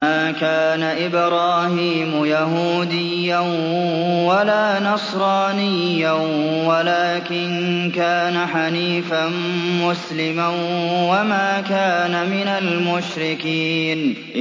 مَا كَانَ إِبْرَاهِيمُ يَهُودِيًّا وَلَا نَصْرَانِيًّا وَلَٰكِن كَانَ حَنِيفًا مُّسْلِمًا وَمَا كَانَ مِنَ الْمُشْرِكِينَ